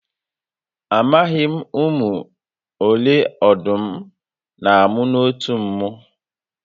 Amaghi m ụmụ ole ọdụm n'amụ n'otu mmụ